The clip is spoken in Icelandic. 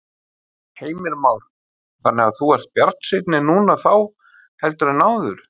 Heimir Már: Þannig þú ert bjartsýnni núna þá heldur en áður?